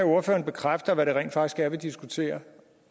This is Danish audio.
ordføreren bekræfter hvad det rent faktisk er vi diskuterer